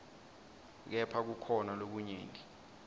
kepha kukhona lokunyenti